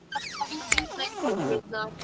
Eða var hún að rýna í bólurnar?